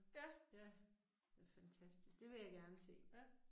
Ja. Ja